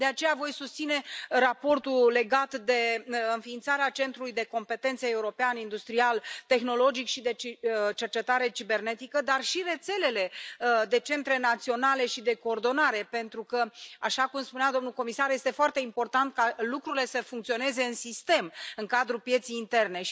De aceea voi susține raportul legat de înființarea Centrului de competențe european industrial, tehnologic și de cercetare în materie de securitate cibernetică, dar și rețelele de centre naționale și de coordonare, pentru că, așa cum spunea domnul comisar, este foarte important ca lucrurile să funcționeze în sistem, în cadrul pieței interne.